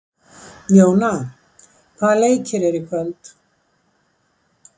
Jóna, hvaða leikir eru í kvöld?